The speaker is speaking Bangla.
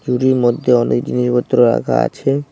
ঝুড়ির মধ্যে অনেক জিনিসপত্র রাখা আছে।